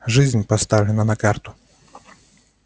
жизнь поставлена на карту